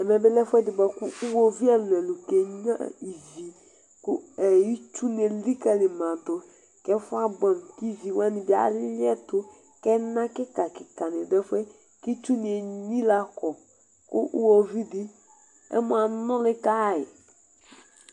Ɛmɛbi lɛ ɛfʋɛdi bʋakʋ iwoviu ɛlʋ ɛlʋ kenyua ivi itsʋ ni elikali madʋ kʋ ɛfʋɛ abʋɛ kʋ ivi wani bi alɩɛtʋ kʋ ɛna kika kika ni dʋ ɛfʋɛ kʋ itsu ni enyila kɔ kʋ iwoviu di ɛmɔ anuli kayi